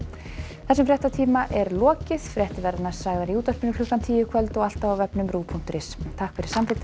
þessum fréttatíma er lokið fréttir verða næst sagðar í útvarpi klukkan tíu í kvöld og alltaf á ruv punktur is takk fyrir samfylgdina